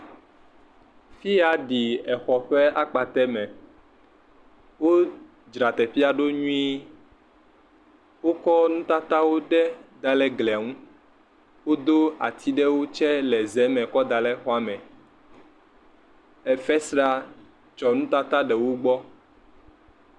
fia ɖi exɔ ƒe akpatɛ me wó dzra teƒie ɖo nyuie wó ko nutatawo ɖe daɖe glia ŋu wodó ati ɖewo tsɛ ɖe ze me kɔ daɖe xɔme